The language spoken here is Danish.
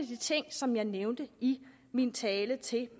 de ting som jeg nævnte i min tale til